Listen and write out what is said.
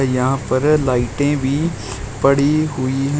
यहां पर लाइटें भी पड़ी हुई है।